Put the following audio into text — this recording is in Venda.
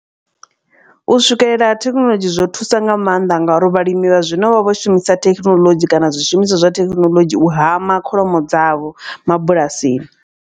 U swikelela ha thekhinoḽodzhi zwo thusa nga maanḓa ngauri vhalimi vha zwino vha vho shumisa thekhinoḽodzhi kana zwishumiswa zwa thekinoḽodzhi u hama kholomo dzavho mabulasini.